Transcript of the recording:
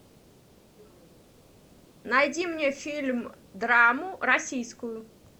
найди мне фильм драму российскую